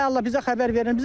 Ay Allah, bizə xəbər verin.